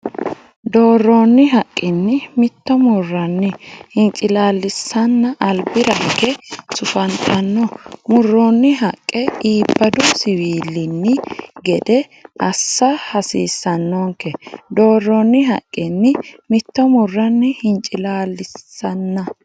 Doorronni haqqinni mitto murranni hincilaallisanna albira higge sufantanno murroonni haqqa iibadu siwiilinni gede assa hasiissannonke Doorronni haqqinni mitto murranni hincilaallisanna.